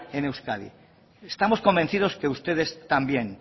en euskadi estamos convencidos que ustedes también